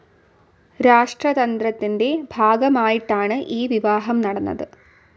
രാഷ്ട്രതന്ത്രത്തിന്റെ ഭാഗമായിട്ടാണ് ഈ വിവാഹം നടന്നത്.